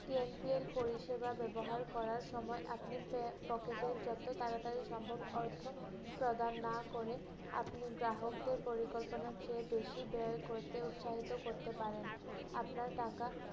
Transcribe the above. TNPA পরিষেবা ব্যবহার করার সময় আপনি পে~ এর যত তারাতারি সম্ভব অর্থ প্রদান না করে, আপনি গ্রাহকদের পরিকল্পনার চেয়ে বেশি ব্যয় করতে উৎসাহিত করতে পারেন। আপনার টাকা